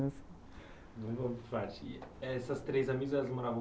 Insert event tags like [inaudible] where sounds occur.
[unintelligible] Essas três amigas, elas moravam